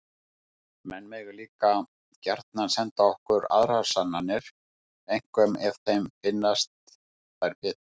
Menn mega líka gjarnan senda okkur aðrar sannanir, einkum ef þeim finnast þær betri!